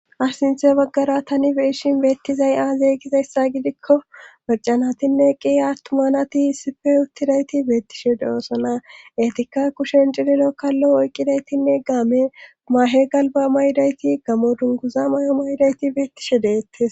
asinthe baggara tani beeshin beettizay aazeygizayssa gidikko marcanatinne qi attuma nati issife uttidayti beettishe doosona etikka kushen cililo kallo oyqqidaytinne game mahe galba maydayti gamo dunguza may7o maydayti beettishe deettes